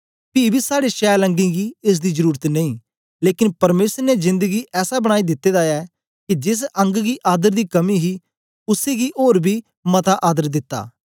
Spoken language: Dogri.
पी बी साड़े शैल अंगें गी एस दी जरुरत नेई लेकन परमेसर ने जेंद गी ऐसा बनाई दिते दा ऐ के जेस अंग गी आदर दी कमी ही उसै गी ओर बी मता आदर दिता